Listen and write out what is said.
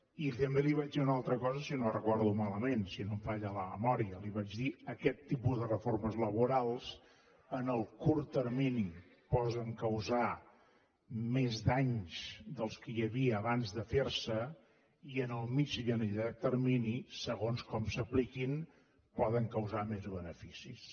i també li vaig dir una altra cosa si no ho recordo malament si no em falla la memòria li vaig dir aquest tipus de reformes laborals en el curt termini poden causar més danys dels que hi havia abans de fer se i en el mitjà i en el llarg termini segons com s’apliquin poden causar més beneficis